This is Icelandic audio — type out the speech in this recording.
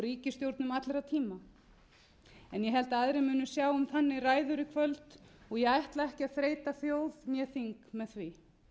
ríkisstjórnum allra tíma en ég held að aðrir munu sjá um þannig ræður í kvöld og ég ætla ekki að þreyta þjóð né þing með því